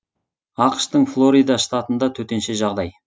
ақш тың флорида штатында төтенше жағдай